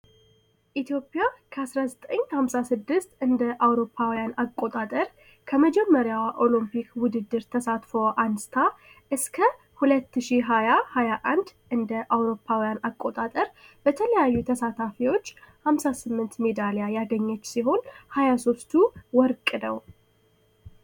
ኢትዮጵያ ከ1956 እንደ. አውሮፓውያ አቆጣጠር ከመጀመሪያው ኦሎምፒክ ውድድር ተሳትፈው አንስታ እስከ 2021 እንደ. አውሮፓያ አጣጠር በተለያዩ ተሳታፊዎች 58 ሜዳሊያ ያገኘች ሲሆን 23ቱ ወርቅ ነው።